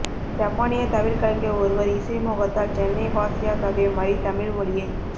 ஜப்பானிய தவில் கலைஞர் ஒருவர் இசை மோகத்தால் சென்னைவாசியாகவே மாறி தமிழ் மொழியைப்